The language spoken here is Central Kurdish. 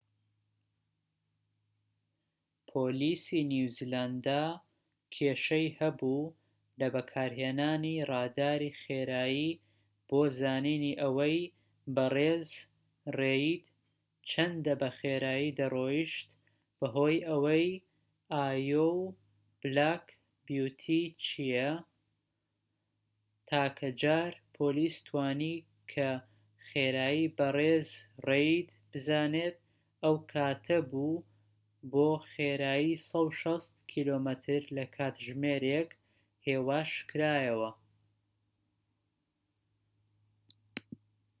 پۆلیسی نیوزیلاندا کێشەی هەبوو لە بەکارهێنانی ڕاداری خێرایی بۆ زانینی ئەوەی بەڕێز ڕێید چەندە بە خێرایی دەڕۆیشت بەهۆی ئەوەی ئایۆو بلاک بیوتی چیە، تاکە جار پۆلیس توانی کە خێرایی بە ڕیز ڕێید بزانێت ئەو کاتە بوو بۆ خێرایی 160 کم/کاتژمێر هێواشکرایەوە